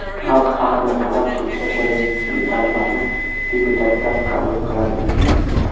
Xalq haqini talab qilsa, birinchi zarbani deputatdan qabul qiladimi?